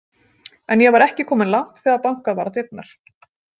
En ég var ekki kominn langt þegar bankað var á dyrnar.